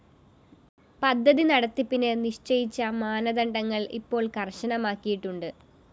പദ്ധതി നടത്തിപ്പിന് നിശ്ചയിച്ച മാനദണ്ഡങ്ങള്‍ ഇപ്പോള്‍ കര്‍ശനമാക്കിയിട്ടുണ്ട്